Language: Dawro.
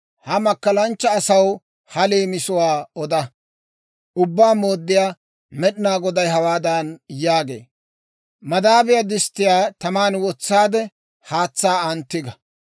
Ha makkalanchcha asaw ha leemisuwaa oda; ‹Ubbaa Mooddiyaa Med'inaa Goday hawaadan yaagee; «Madaabiyaa disttiyaa taman wotsaade, haatsaa an tiga.